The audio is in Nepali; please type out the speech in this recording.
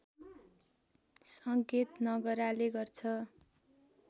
सङ्केत नगराले गर्छ